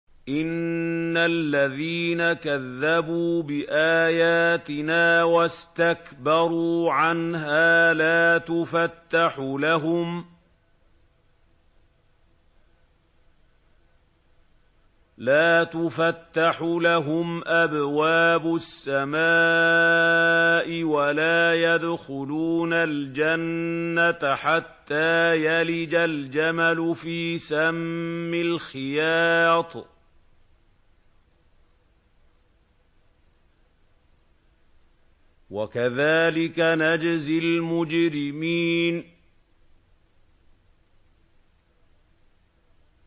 إِنَّ الَّذِينَ كَذَّبُوا بِآيَاتِنَا وَاسْتَكْبَرُوا عَنْهَا لَا تُفَتَّحُ لَهُمْ أَبْوَابُ السَّمَاءِ وَلَا يَدْخُلُونَ الْجَنَّةَ حَتَّىٰ يَلِجَ الْجَمَلُ فِي سَمِّ الْخِيَاطِ ۚ وَكَذَٰلِكَ نَجْزِي الْمُجْرِمِينَ